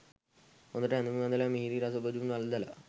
හොඳට ඇඳුම් ඇඳල, මිහිරි රස බොජුන් වළඳල,